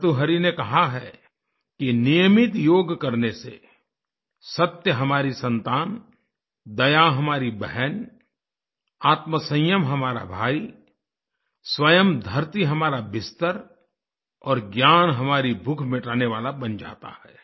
भर्तृहरि ने कहा है कि नियमित योग करने से सत्य हमारी संतान दया हमारी बहन आत्मसंयम हमारा भाई स्वयं धरती हमारा बिस्तर और ज्ञान हमारी भूख मिटाने वाला बन जाता है